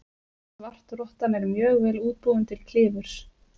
Svartrottan er mjög vel útbúin til klifurs.